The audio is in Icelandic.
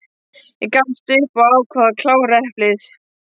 Ég gafst upp og ákvað að klára eplið.